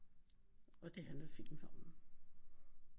Og det handler filmen om